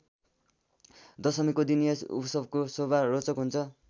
दशमीको दिन यस उत्सवको शोभा रोचक हुन्छ।